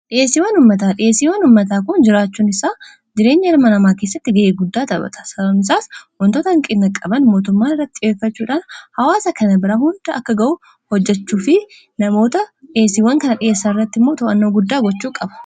Dhiyeesiiwwan ummataa dhiyeesiiwwan ummataa kun jiraachuun isaa jireenya ilma namaa keessatti ga'ee guddaa taphata. Sababni isaas wantoota hanqina qaban mootummaan irratti xiyyeffachuudhaan hawaasa kana bira hunda akka ga'u hojjechuu fi namoota dhiyeesiiwwan kana dhiyeessan irratti immoo to'annoo guddaa gochuu qaba.